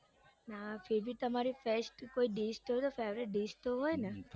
ના તમારી favourite dish તો હોય ને